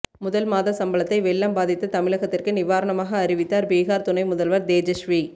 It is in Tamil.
முதல் மாத சம்பளத்தை வெள்ளம் பாதித்த தமிழகத்திற்கு நிவாரணமாக அறிவித்தார் பீகார் துணை முதல்வர் தேஜஸ்வி